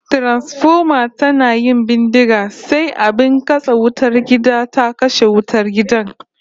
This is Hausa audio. Transfoma tana yin bindiga sai abin katse wutar gida ta kashe wutar gidan